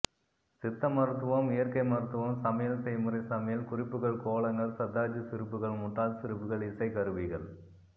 சித்த மருத்துவம் இயற்கை மருத்துவம் சமையல் செய்முறை சமையல் குறிப்புகள் கோலங்கள் சர்தார்ஜி சிரிப்புகள் முட்டாள் சிரிப்புகள் இசைக் கருவிகள்